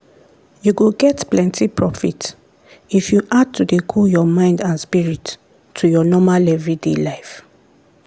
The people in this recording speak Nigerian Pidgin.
you go get plenty profit if you add to dey cool your mind and spirit to your normal everyday life.